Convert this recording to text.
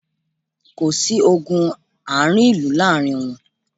Kò sí ogun ààrin ìlú láàrin wọn